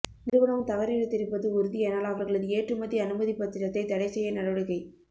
நிறுவனம் தவறிழைத்திருப்பது உறுதியானால் அவர்களது ஏற்றுமதி அனுமதிப்பத்திரத்தை தடை செய்ய நடவடிக்கை